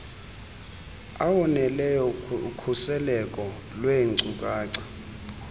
awoneleyo okhuseleko lweenkcukacha